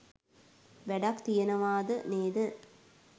වැඩක් තියෙනවද නේද?